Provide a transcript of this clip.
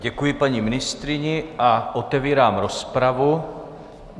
Děkuji paní ministryni a otevírám rozpravu.